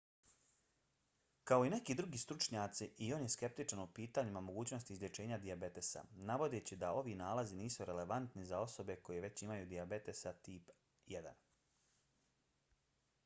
kao i neki drugi stručnjaci i on je skeptičan o pitanju mogućnosti izlječenja dijabetesa navodeći da ovi nalazi nisu relevantni za osobe koje već imaju dijabetesa tipa 1